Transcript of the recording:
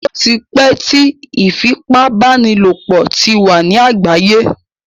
Ó ti pẹ́ tí ìfipábánilòpọ̀ ti wà ní àgbáyé.